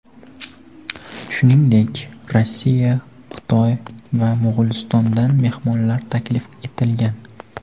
Shuningdek, Rossiya, Xitoy va Mo‘g‘ulistondan mehmonlar taklif etilgan.